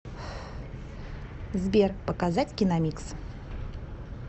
сбер показать киномикс